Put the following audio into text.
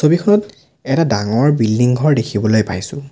ছবিখনত এটা ডাঙৰ বিল্ডিং ঘৰ দেখিবলৈ পাইছোঁ।